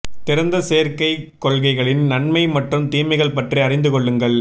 திறந்த சேர்க்கை கொள்கைகளின் நன்மை மற்றும் தீமைகள் பற்றி அறிந்து கொள்ளுங்கள்